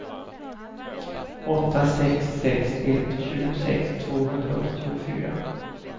åtta sex sex ett tjugosex tvåhundraåttiofyra